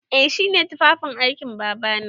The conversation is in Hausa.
Eh shi ne tufafin aikin Babana.